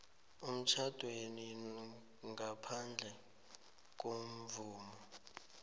emtjhadweni ngaphandle kwemvumo